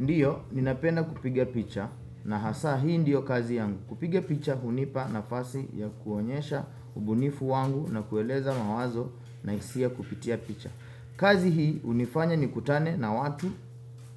Ndiyo, ninapenda kupiga picha na hasa hii ndiyo kazi yangu. Kupiga picha hunipa nafasi ya kuonyesha ubunifu wangu na kueleza mawazo na hisia kupitia picha. Kazi hii, hunifanya nikutane na watu